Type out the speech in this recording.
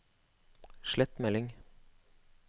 slett melding